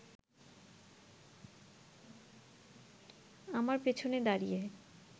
আমার পেছনে দাঁড়িয়ে